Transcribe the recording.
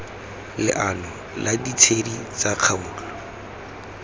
leano la ditshedi tsa kgaolo